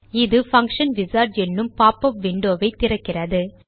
இது function wizard என்னும் popup window வை திறக்கிறது